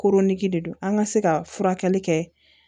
Koronnen de don an ka se ka furakɛli kɛ